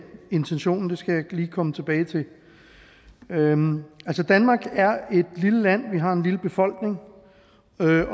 intentionen skal jeg lige komme tilbage til danmark er et lille land vi har en lille befolkning